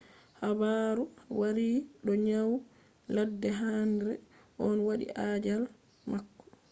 haabaru waari do nyau ladde henre on wadi ajaal mako